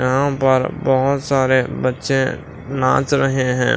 यहाँ पर बहुत सारे बच्चे नाच रहे हैं।